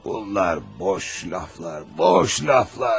Onlar boş sözlərdir, boş sözlər.